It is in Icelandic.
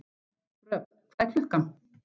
Röfn, hvað er klukkan?